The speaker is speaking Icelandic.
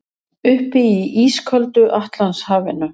Uppi í ísköldu Atlantshafinu.